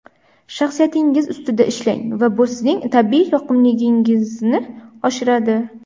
Shaxsiyatingiz ustida ishlang va bu sizning tabiiy yoqimliligingizni oshiradi.